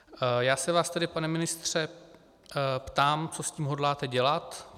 Já se vás tedy, pane ministře, ptám, co s tím hodláte dělat.